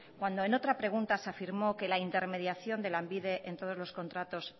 cuando en otra pregunta se afirmó que la intermediación de lanbide en todos los contratos